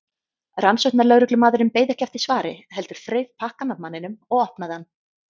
Rannsóknarlögreglumaðurinn beið ekki eftir svari heldur þreif pakkann af manninum og opnaði hann.